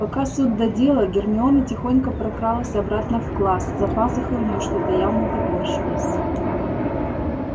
пока суд да дело гермиона тихонько прокралась обратно в класс за пазухой у неё что-то явно топорщилось